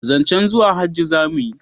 zancen zuwa hajji za mu yi